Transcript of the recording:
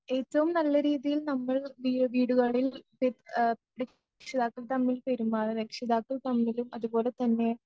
ഏറ്റവും നല്ല രീതിയിൽ നമ്മൾ വീ വീടുകളിൽ ര ആ രക്ഷിതാക്കൾ തമ്മിൽ പെരുമാറ രക്ഷിതാക്കൾ തമ്മിലും അതുപോലെതന്നെ